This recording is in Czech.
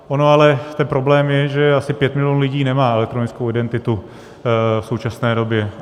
Ono ale ten problém je, že asi 5 milionů lidí nemá elektronickou identitu v současné době.